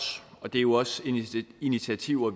og det er jo også initiativer